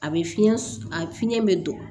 A bɛ fiɲɛ a fiɲɛ bɛ don